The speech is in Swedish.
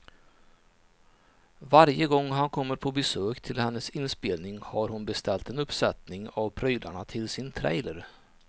Varje gång han kommer på besök till hennes inspelning har hon beställt en uppsättning av prylarna till sin trailer.